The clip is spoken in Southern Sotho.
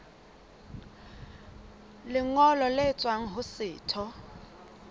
lengolo le tswang ho setho